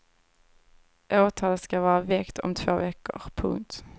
Åtal ska vara väckt om två veckor. punkt